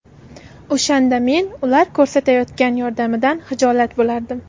O‘shanda men ular ko‘rsatayotgan yordamidan hijolat bo‘lardim.